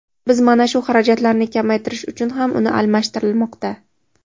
Biz mana shu xarajatlarni kamaytirish uchun ham uni almashtirilmoqda.